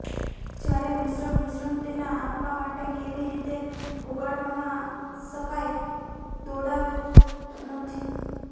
જ્યારે મિશ્રણ મિશ્રણ તેના આપવા માટે કેવી રીતે ઓગાળવામાં શકાય દોડાવે નથી